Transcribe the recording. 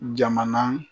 Jamana